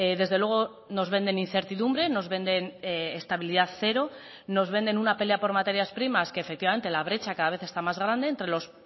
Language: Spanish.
desde luego nos venden incertidumbre nos venden estabilidad cero nos venden una pelea por materias primas que efectivamente la brecha cada vez está más grande entre los